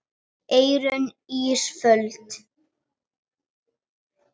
Eyrún Ísfold.